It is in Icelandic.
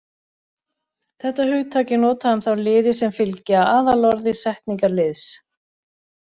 Þetta hugtak er notað um þá liði sem fylgja aðalorði setningarliðs.